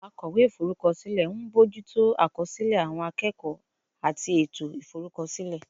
Akọ̀wé Ìforúkọsílẹ̀ ń bójú tó àkọsílẹ̀ àwọn akẹ́kọ̀ọ́ àti ètò ìforúkọsílẹ̀